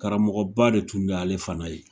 Karamɔgɔba de tun bɛ ale fana ye.